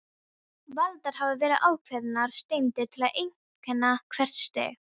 Valdar hafa verið ákveðnar steindir til að einkenna hvert stig.